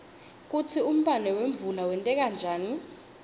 kutsi umbane wemvula wenteka njani